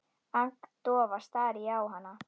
Agndofa stari ég á hana.